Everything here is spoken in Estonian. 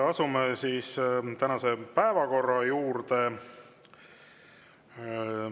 Asume tänase päevakorra juurde.